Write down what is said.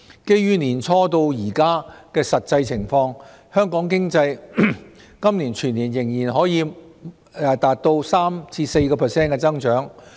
基於年初至今的實際情況，香港經濟今年全年仍可望達到 3% 至 4% 的增長。